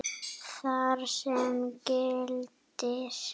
þar sem gildir